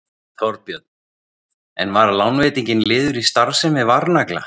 Þorbjörn: En var lánveitingin liður í starfsemi Varnagla?